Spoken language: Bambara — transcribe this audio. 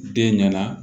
Den ɲɛna